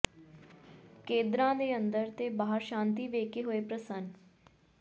ਕੇਦਰਾਂ ਦੇ ਅੰਦਰ ਤੇ ਬਾਹਰ ਸ਼ਾਂਤੀ ਵੇਖਕੇ ਹੋਏ ਪ੍ਰਸੰਨ